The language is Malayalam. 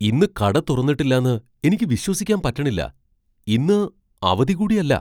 ഇന്ന് കട തുറന്നിട്ടില്ലാന്ന് എനിക്ക് വിശ്വസിക്കാൻ പറ്റണില്ലാ! ഇന്ന് അവധി കൂടി അല്ല.